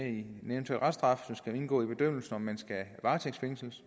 en eventuel reststraf skal indgå i bedømmelsen af om man skal varetægtsfængsles